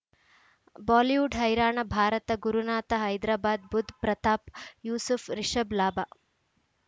Bollywood ಹೈರಾಣ ಭಾರತ ಗುರುನಾಥ ಹೈದರಾಬಾದ್ ಬುಧ್ ಪ್ರತಾಪ್ ಯೂಸುಫ್ ರಿಷಬ್ ಲಾಭ